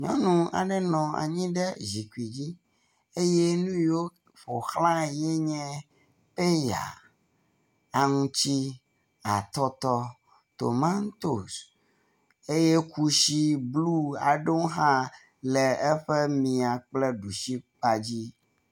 Nyɔnu aɖe nɔ anyi ɖe zikpi dzi eye nuyiwo ƒoxlãe yi enye peya, aŋti, atɔtɔ, tomantos eye kusi blu aɖewo hã le eƒe mia kple ɖusi kpadzi.